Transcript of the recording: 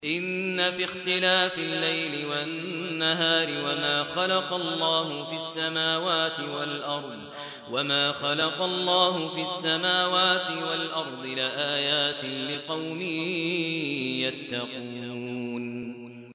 إِنَّ فِي اخْتِلَافِ اللَّيْلِ وَالنَّهَارِ وَمَا خَلَقَ اللَّهُ فِي السَّمَاوَاتِ وَالْأَرْضِ لَآيَاتٍ لِّقَوْمٍ يَتَّقُونَ